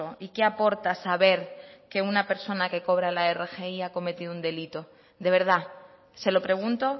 y qué aporta saber que una persona que cobra la rgi ha cometido un delito de verdad se lo pregunto